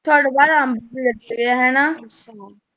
ਤੁਹਾਡੇ ਯਾਰ ਅੰਬ ਵੀ ਲੱਗੇ ਹੈ ਹੈਨਾ।